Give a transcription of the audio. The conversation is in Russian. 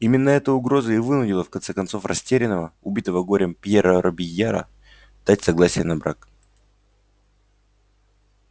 именно эта угроза и вынудила в конце концов растерянного убитого горем пьера робийяра дать согласие на брак